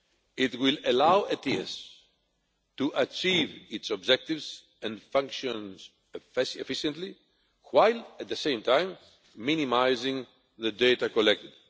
It will allow ETIAS to achieve its objectives and functions efficiently while at the same time minimising the data collected.